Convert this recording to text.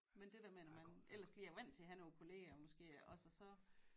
Men det der med når man ellers lige er vant til at have nogle kollegaer måske også og så